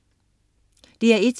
DR1: